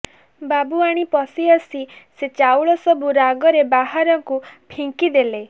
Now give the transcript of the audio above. ବାବୁଆଣୀ ପଶିଆସି ସେ ଚାଉଳ ସବୁ ରାଗରେ ବାହାରକୁ ଫିଙ୍କିଦେଲେ